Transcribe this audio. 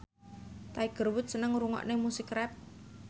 Tiger Wood seneng ngrungokne musik rap